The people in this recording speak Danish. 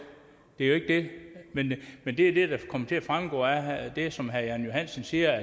det er jo ikke det men det er det der kommer til at fremgå af det som herre jan johansen siger